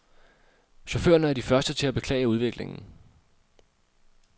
Chaufførerne er de første til at beklage udviklingen.